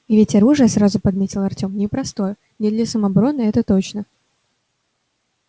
и ведь оружие сразу подметил артем непростое не для самообороны это точно